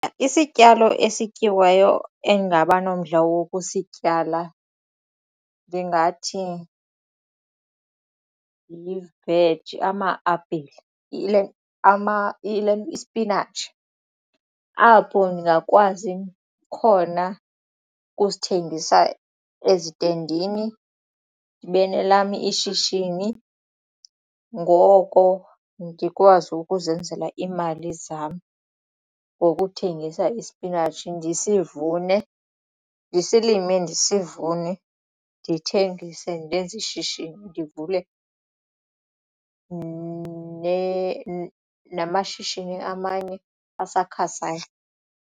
Isityalo esityiwayo endingaba nomdla wokusityala ndingathi yiveji ama-apile ispinatshi apho ndingakwazi khona ukusithengisa ezitendini ndibe nelam ishishini ngoko ndikwazi ukuzenzela iimali zam ngokuthengisa ispinatshi ndisivune ndisilime ndisivune ndithengise ndenze ishishini ndivule namashishini amanye asakhasayo.